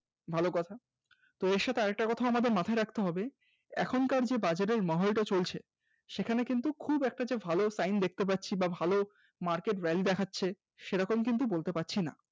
ভালো কথা এর সাথে আমাদের আরেকটা কথা আমাদের মাথায় রাখতে হবে এখনকার যে বাজারের মহলটা চলছে সেখানে কিন্তু খুব একটা যে ভালো Sign দেখতে পাচ্ছি বা ভালো Market yield দেখাচ্ছে সেরকম কিন্তু বলতে পারছিনা